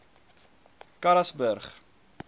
karasburg